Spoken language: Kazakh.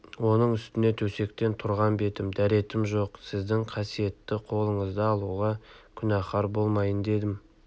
оның үстіне төсектен тұрған бетім дәретім жоқ сіздің қасиетті қолыңызды алуға күнәһар болмайын дедім